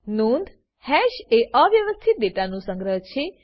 નોંધ હેશ એ અવ્યવસ્થિત ડેટાનું સંગ્રહ છે